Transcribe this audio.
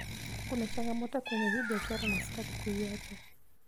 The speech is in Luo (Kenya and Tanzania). kuna changamoto kwenye hii biashara na sitaki kuiacha